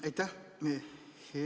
Aitäh!